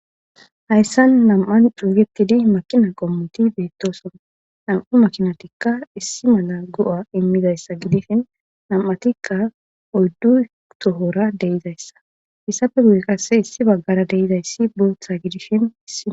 Hayssan nam'an dhuruuwetidi makina qommoti beettoson nam'u makinatikka issi mala go'a immidayssa gidishin nam'atikka oddu tohora deizayssa hissafe guye qasse issi baggara deizayssi buotha gidishini